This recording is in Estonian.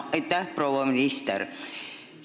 Aitäh, proua minister!